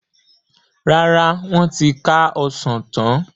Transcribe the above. Rárá, wọn ti ká Ọsàn tán.